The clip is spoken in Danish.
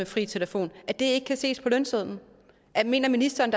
fri telefon ikke kan ses på lønsedlen mener ministeren